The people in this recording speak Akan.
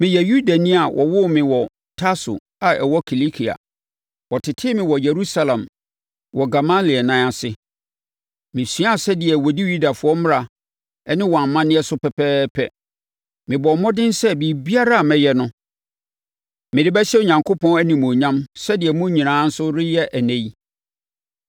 “Meyɛ Yudani a wɔwoo me wɔ Tarso a ɛwɔ Kilikia. Wɔtetee me wɔ Yerusalem wɔ Gamaliel nan ase. Mesuaa sɛdeɛ wɔdi Yudafoɔ mmara ne wɔn amanneɛ so pɛpɛɛpɛ. Mebɔɔ mmɔden sɛ biribiara a meyɛ no, mede bɛhyɛ Onyankopɔn animuonyam sɛdeɛ mo nyinaa nso reyɛ ɛnnɛ yi.